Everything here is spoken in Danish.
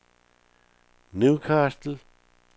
Newcastle